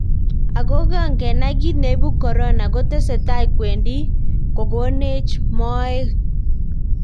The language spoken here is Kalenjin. Okong kenai kit neipu corona, kotesetai kwendi kokonech moet.